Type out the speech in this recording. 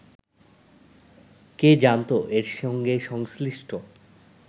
কে জানত এর সঙ্গে সংশ্লিষ্ট